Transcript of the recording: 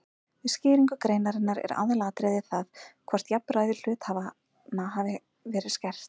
Við skýringu greinarinnar er aðalatriðið það hvort jafnræði hluthafanna hafi verið skert.